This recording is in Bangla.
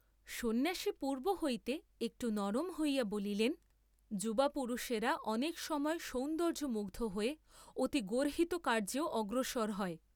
সন্ন্যাসী পূর্ব্ব হইতে একটু নরম হইয়া বলিলেন, যুবা পুরুষেরা অনেক সময় সৌন্দর্য্যমুগ্ধ হয়ে অতি গর্হিত কার্য্যেও অগ্রসর হয়।